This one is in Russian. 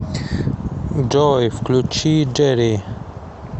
джой включи джерри